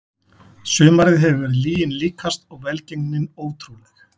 Sumarið hefur verið lyginni líkast og velgengnin ótrúleg.